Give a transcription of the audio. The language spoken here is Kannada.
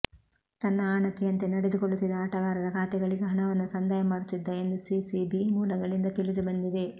ತನ್ನ ಆಣತಿಯಂತೆ ನಡೆದುಕೊಳ್ಳುತ್ತಿದ್ದ ಆಟಗಾರರ ಖಾತೆಗಳಿಗೆ ಹಣವನ್ನು ಸಂದಾಯ ಮಾಡುತ್ತಿದ್ದ ಎಂದು ಸಿಸಿಬಿ ಮೂಲಗಳಿಂದ ತಿಳಿದು ಬಂಧಿದೆ